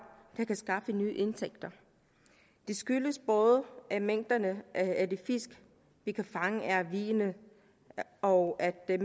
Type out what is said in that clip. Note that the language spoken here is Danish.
der kan skaffe nye indtægter det skyldes både at mængderne af de fisk vi kan fange er vigende og at